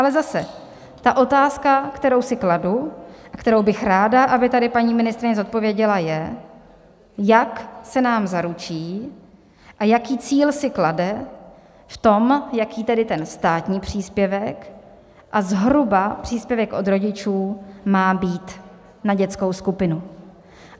Ale zase ta otázka, kterou si kladu a kterou bych ráda, aby tady paní ministryně zodpověděla, je, jak se nám zaručí a jaký cíl si klade v tom, jaký tedy ten státní příspěvek a zhruba příspěvek od rodičů má být na dětskou skupinu.